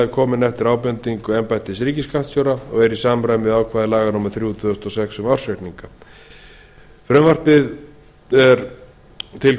komin eftir ábendingu embættis ríkisskattstjóra og er í samræmi við ákvæði laga númer þrjú tvö þúsund og sex um ársreikninga hæstvirtur forseti frumvarp þetta er til